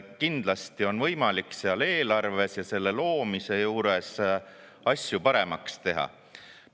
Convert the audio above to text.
Kindlasti on võimalik eelarve ja selle loomise juures asju paremaks teha.